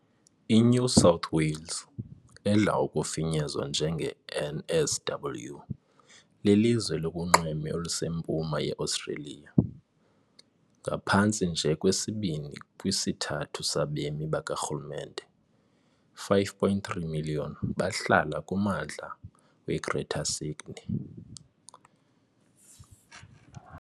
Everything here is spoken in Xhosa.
INew South Wales, edla ngokufinyezwa njenge NSW, lilizwe elikunxweme olusempuma yeOstreliya. Ngaphantsi nje kwesibini kwisithathu sabemi bakarhulumente, 5.3 million, bahlala kummandla weGreater Sydney.